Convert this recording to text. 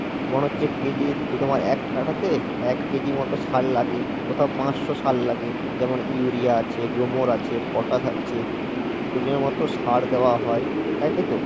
মনে হচ্ছে কেজি দিয়ে তোমার এক কাঠাতে এক কেজি মত সার লাগে কোথাও পাঁচশো সার লাগে যেমন ইউরিয়া আছে, গ্লোমোর আছে, পটাস আছে মতো সার দেওয়া হয় তাই তাই তো?